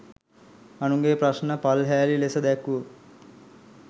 අනුන්ගෙ ප්‍රශ්න පල්හෑලි ලෙස දැක්වූ